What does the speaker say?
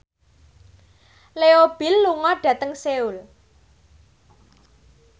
Leo Bill lunga dhateng Seoul